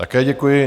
Také děkuji.